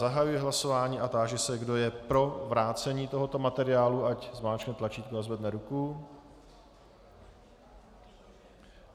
Zahajuji hlasování a táži se, kdo je pro vrácení tohoto materiálu, ať zmáčkne tlačítko a zvedne ruku.